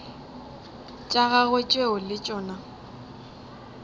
tša gagwe tšeo le tšona